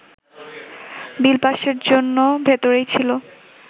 বিল পাসের জন্য ভেতরেই ছিল